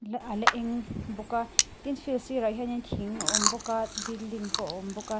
a la ala eng bawk a tin field sirah hian thing a awm bawk a building pawh a awm bawk a.